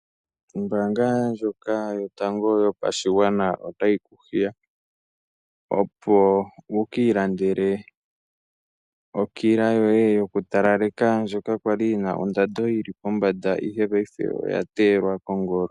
Ombaanga yotango yopashigwana otayi ku hiya opo wukiilandele okila yoye yokutalaleka, ndjoka kwa li yina ondando yili pombanda ihe paife oya teyelwa kongolo.